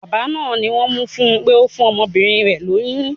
Bàbá náà ni wón mú fún pé ó fún ọmọbìnrin rẹ̀ lóyún.